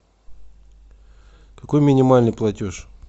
какой минимальный платеж